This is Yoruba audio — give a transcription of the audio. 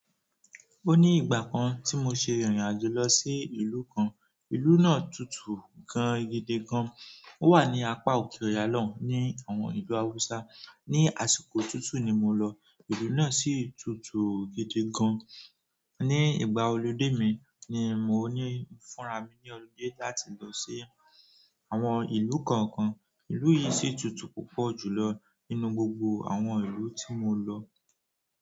O ní ìgbà kan tí mo se irìn àjò lọ sí ìlú kan. Ìlú náà tutù gan gidi gan. Ó wà ní apá òkè Ọ̀ya lọ́un ní àwọn ìlú Haúsá. Ni àsìkò tutù ni mo lọ, ìlú náà sì tutù gidi gan. Ni ìgbà olude mi, ni mo fúnra mi ni olude láti losi àwọn ìlú kọ̀ọ̀kan. Ìlú yìí sì tutù púpọ̀ jù lọ nínú gbogbo àwọn ìlú tí mo lọ.